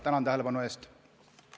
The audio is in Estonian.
Tänan tähelepanu eest!